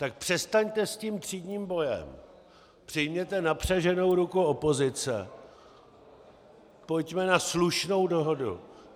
Tak přestaňte s tím třídním bojem, přijměte napřaženou ruku opozice, pojďme na slušnou dohodu.